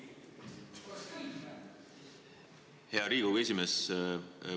Hea Riigikogu esimees!